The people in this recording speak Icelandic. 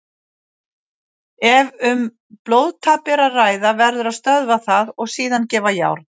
Ef um blóðtap er að ræða verður að stöðva það og síðan gefa járn.